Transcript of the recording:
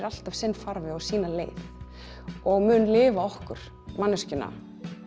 alltaf sinn farveg og sína leið og mun lifa okkur manneskjuna